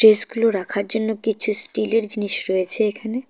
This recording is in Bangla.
রাখার জন্য কিছু স্টিলের জিনিস রয়েছে এখানে।